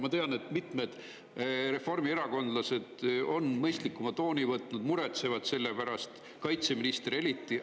Ma tean, et mitmed reformierakondlased on mõistlikuma tooni võtnud, muretsevad selle pärast, kaitseminister eriti.